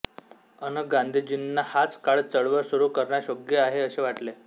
अन गांधीजींना हाच काळ चळवळ सुरू करण्यास योग्य आहे असे वाटले